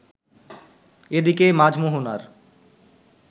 এদিকে মাঝ-মোহনার